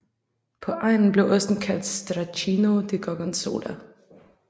På egnen blev osten kaldt Stracchino di Gorgonzola